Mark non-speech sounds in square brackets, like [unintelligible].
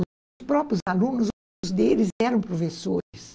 [unintelligible] Os próprios alunos, muitos deles eram professores.